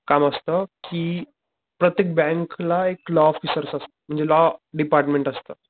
काम असत कि प्रत्येक बँक ला एक लॉ ऑफिसर्स असतो म्हणजे लॉ डिपार्टमेंट असत.